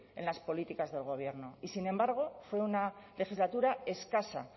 en las políticas del gobierno y sin embargo fue una legislatura escasa